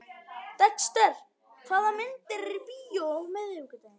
Dexter, hvaða myndir eru í bíó á miðvikudaginn?